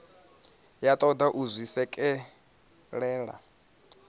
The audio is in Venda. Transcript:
ya toda u zwi swikelela